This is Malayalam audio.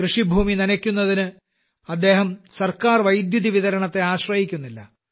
കൃഷിഭൂമി നനക്കുന്നതിന് അദ്ദേഹം സർക്കാർ വൈദ്യുതിവിതരണത്തെ ആശ്രയിക്കുന്നില്ല